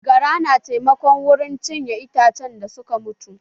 Gara na taimako wurin cinye itacen da suka mutu